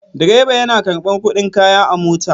Direba yana karɓar kuɗin kaya a mota.